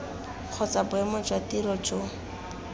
kgotsa boemo jwa tiro jo